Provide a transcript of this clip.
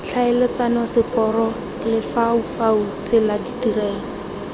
tlhaeletsano seporo lefaufau tsela ditirelo